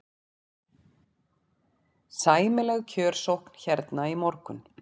Sæmileg kjörsókn hérna í morgun?